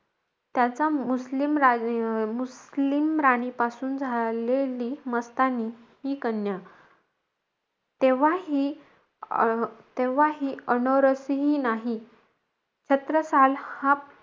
त्याच्या मुस्लिम रा मुस्लिम राणीपासून झालेली मस्तानी ही कन्या. तेव्हा ही अं तेव्हा ही अन अनरसहि नाही. छत्रसाल हा,